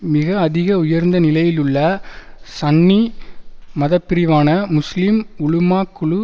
மிக அதிக உயர்ந்த நிலையிலுளள சன்னி மதப்பிரிவான முஸ்லிம் உலுமாக் குழு